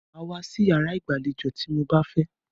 Màá wá sí iyàrá ìgbàlejò tí mo bá fẹ́!